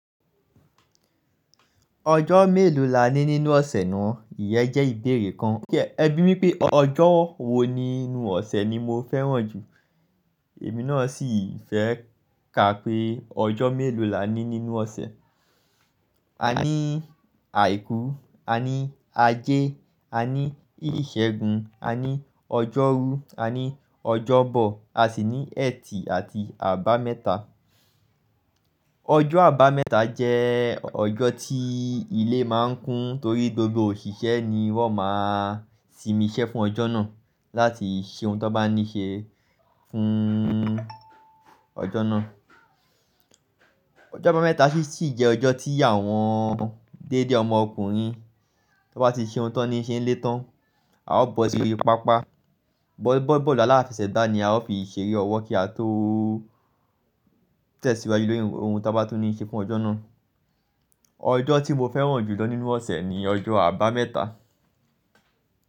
Ọjọ́ mélòó la ní nínú ọ̀sẹ̀ náà? Ìyẹ́ jẹ́ ìbéèrè kan. Ẹ bí mi pé ọjọ́ wo nínú ọ̀sẹ̀ ni mo fẹ́ràn jù. Èmi náà sì fẹ́ ka pé ọjọ́ mélòó la ní nínú ọ̀sẹ̀. A ní Àìkú, a ní Ajé, a ní ìṣẹ́gun, a ní ọjọ́rú, a ní ọjọ́bọ, a sì ní ẹ̀tì àti àbámẹ́ta. Ọjọ́ àbámẹ́ta jẹ́ ọjọ́ tí ilé máa ń kún torí gbogbo òṣìṣẹ́ ni wọ́n máa simiṣẹ́ fún ọjọ́ náà láti ṣe ohun tó bá ní ṣe fún ọjọ́ náà. Ọjọ́ àbámẹ́ta sì jẹ́ ọjọ́ tí àwọn déédé ọmọ ọkùnrin tó bá ti ṣe ohun tó ní ṣe ń lé tán, a ó bọ́ síbi pápá, bọ́ bọ́ bọ́ọ̀lù aláfẹsẹ̀gbá ni a ó fi ṣeré ọwọ́ kí a tó tẹ̀síwájú lórí ohun tí a bá tún ní ṣe fún ọjọ́ náà. Ọjọ́ tí mo fẹ́ràn jù lọ nínú ọ̀sẹ̀ ni ọjọ́ àbámẹ́ta.